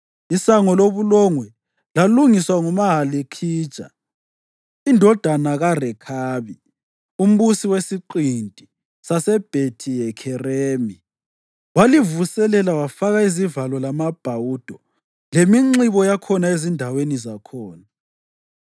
Isango loBulongwe lalungiswa nguMalikhija indodana kaRekhabi, umbusi wesiqinti saseBhethi-Hakheremi. Walivuselela wafaka izivalo lamabhawudo leminxibo yakhona ezindaweni zakhona.